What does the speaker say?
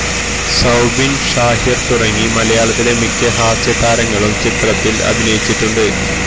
സൌബിന് ഷാഹിര് തുടങ്ങി മലയാളത്തിലെ മിക്ക ഹാസ്യ താരങ്ങളും ചിത്രത്തില് അഭിനയിച്ചിട്ടുണ്ട്